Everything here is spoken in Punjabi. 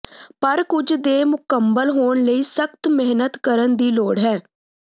ਪਰ ਕੁਝ ਦੇ ਮੁਕੰਮਲ ਹੋਣ ਲਈ ਸਖ਼ਤ ਮਿਹਨਤ ਕਰਨ ਦੀ ਲੋੜ ਹੈ